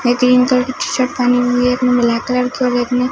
ने green colour की T shirt पहनी हुई है एक ने ब्लैक कलर की और एक ने--